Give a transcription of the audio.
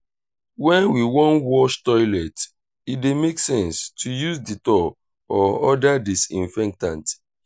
when we wan wash toilet e dey make sense to use dettol or oda disinfectant